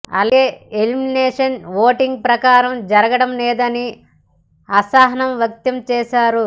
అలాగే elimination voting ప్రకారం జరగడం లేదని అసహనం వ్యక్తం చేశారు